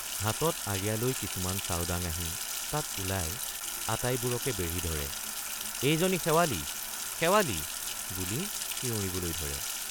হাতত আৰিয়া লৈ কিছুমান চাওডাঙ আহি তাত ওলাই আটাই বোৰকে বেঢ়ি ধৰে এইজনী শেৱালি শেৱালি বুলি চিয়ৰিবলৈ ধৰে।